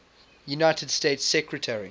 united states secretary